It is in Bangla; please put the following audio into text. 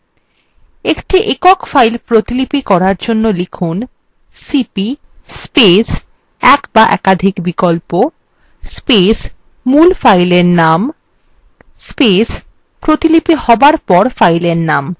একটি একক file প্রতিলিপি করার জন্য লিখুন